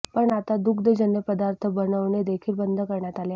पण आता दुग्धजन्य पदार्थ बनवणे देखील बंद करण्यात आले आहेत